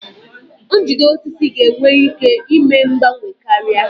Njide osisi ga-enwe ike ime mgbanwe karịa.